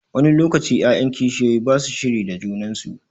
Wani lokaci 'ya'yan kishiyoyi ba su shiri da junan su.